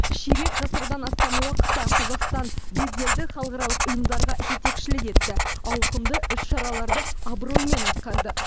ширек ғасырдан астам уақытта қазақстан беделді халықаралық ұйымдарға жетекшілік етті ауқымды іс шараларды абыроймен атқарды